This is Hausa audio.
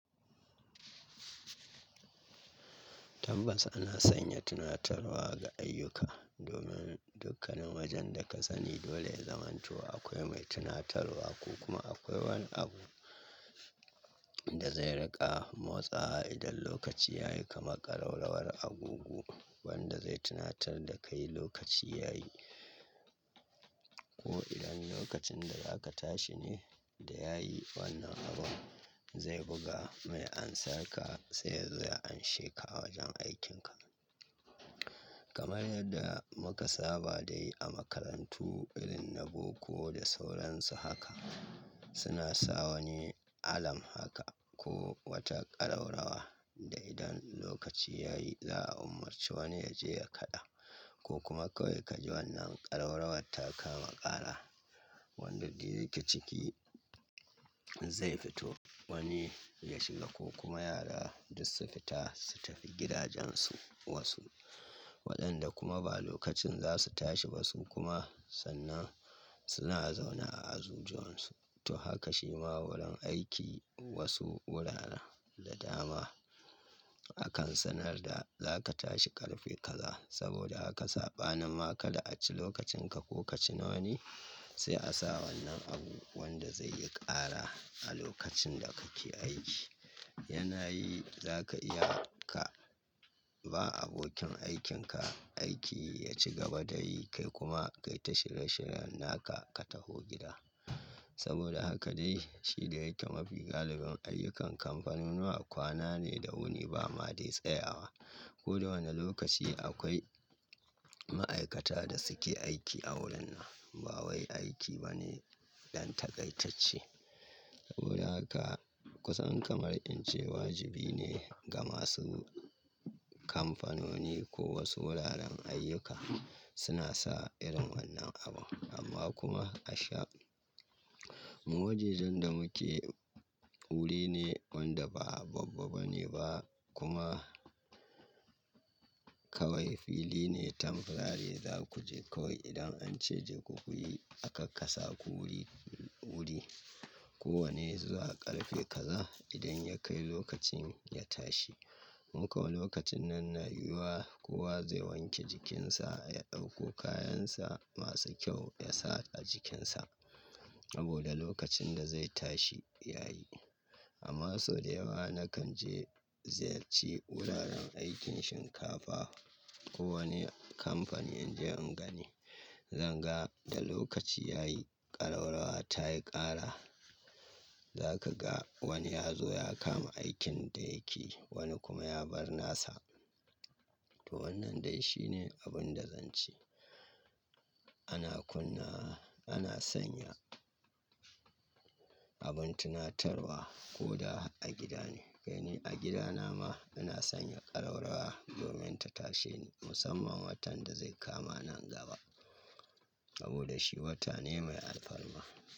Tabbas ana sanya tunatarwa ga ayyuka domin dukkanin wajen da ka sani dole ya zamanto akwai mai tunatarwa ko kuma akwai wani abu da zai riƙa motsawa idan lokaci ya yi kamar ƙarau-rawar agogo wanda zai tunatar da kai lokaci ya yi ko idan lokacin da za ka tashi ne da yayi wannan abun zai buga mai ansar ka sai yazo ya anshe ka a wajen aikinka. Kamar yadda muka saba da yi a makarantu irin na boko da sauransu haka suna sa wani alam haka ko wata ƙarau-rawa da idan lokaci yayi za a umarci wani ya je ya kaɗa ko kuma kawai ka ji wannan ƙarau-rawar ta kama ƙara wanda dai yake ciki zai fito wani ya shiga ko kuma yara duk su fita su tafi gidajensu wasu waɗanda kuma ba lokacin za su tashi ba su kuma sannan suna zaune a azujuwansu. To haka shi ma wurin aiki wasu wuraren da dama akan sanar da za ka tashi ƙarfe kaza saboda haka saɓanin ma ka da a ci lokacin ka ko ka ci na wani sai a sa wannan abu wanda zai yi ƙara a lokacin da kake aiki. Yana yi za ka iya ka ba abokin aikin ka aiki ya ci gaba da yi kai kuma kai ta shirye-shirye naka ka tafi gida saboda haka dai shi da yake mafi galibin ayyukan kamfanunuwa kwana ne da wuni ba ma dai tsayawa. Ko da wane lokaci akwai ma'aikata da suke aiki a wurin nan ba wai aiki ba ne ɗan takaitacce. Hura ka kusan kamar ince wajibi ne ga masu kamfanoni ko wasu wuraren ayyuka suna sa irin wannan abu amma kuma a sha mu wajajen da muke wuri ne wanda ba babba bane ba kuma kawai fili ne tamfirari za ku je kawai idan an ce je ku kuyi akak kasa ku wuri-wuri kowane zuwa ƙarfe kaza idan ya kai lokacin ya tashi. Mukau lokacin nan na yiwuwa kowa zai wanke jikinsa ya ɗauko kayansa masu kyau ya sa a jikinsa saboda lokacin da zai tashi ya yi. Amma sau da yawa na kan je ziyarci wuraren aikin shinkafa ko wani kamfani in je in gani zan ga da lokaci ya yi ƙarau-rawa ta yi ƙara za ka ga wani ya zo ya kama aikin da yake wani kuma ya bar nasa. To wannan dai shine abun da zan ce ana kunna ana sanya abin tunatarwa ko da a gida ne. Kai ni a gidana ma ina sanya ƙarau-rawa domin ta tashe ni musamman watan da zai kama nan gaba saboda shi wata ne mai alfarma.